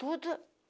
Tudo.